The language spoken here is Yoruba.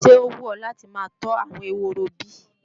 Ṣé ó wù ọ́ láti máa tọ́ àwọn ehoro bí?